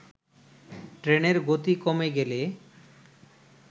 ট্রেনের গতি কমে গেলে